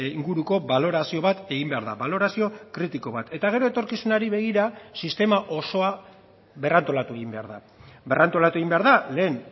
inguruko balorazio bat egin behar da balorazio kritiko bat eta gero etorkizunari begira sistema osoa berrantolatu egin behar da berrantolatu egin behar da lehen